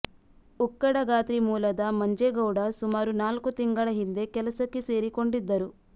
ಉಕ್ಕಡಗಾತ್ರಿ ಮೂಲದ ಮಂಜೇಗೌಡ ಸುಮಾರು ನಾಲ್ಕು ತಿಂಗಳ ಹಿಂದೆ ಕೆಲಸಕ್ಕೆ ಸೇರಿಕೊಂಡಿದ್ದರು